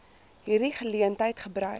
hierdie geleentheid gebruik